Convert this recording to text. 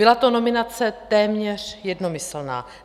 Byla to nominace téměř jednomyslná.